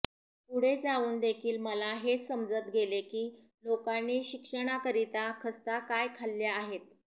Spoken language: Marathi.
पुढे जाऊन देखील मला हेच समजत गेले की लोकांनी शिक्षणाकरिता खस्ता काय खाल्ल्या आहेत